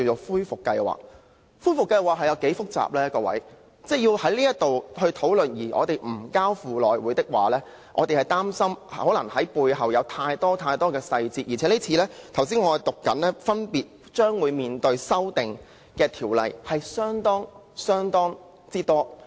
恢復計劃內容複雜，若在此討論而不交付內務委員會，我們擔心內裏可能會有太多細節，而剛才我讀出將會面對修訂的條例數目相當多。